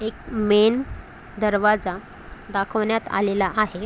एक मेन दरवाजा दाखवण्यात आलेला आहे.